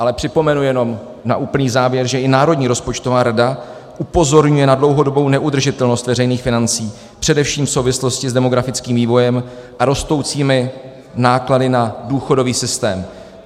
Ale připomenu jenom na úplný závěr, že i Národní rozpočtová rada upozorňuje na dlouhodobou neudržitelnost veřejných financí především v souvislosti s demografickým vývojem a rostoucími náklady na důchodový systém.